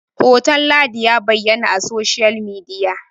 hoton ladin ya bayyana a soshiyal midiya!